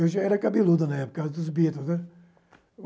Eu já era cabeludo na época, por causa dos Beatles, né.